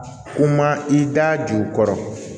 U ma i da ju kɔrɔ